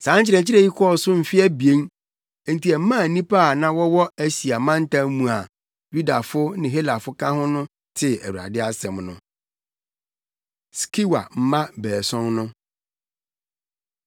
Saa nkyerɛkyerɛ yi kɔɔ so mfe abien; enti ɛmaa nnipa a na wɔwɔ Asia mantam mu a Yudafo ne Helafo ka ho no tee Awurade asɛm no. Skewa Mma Baason No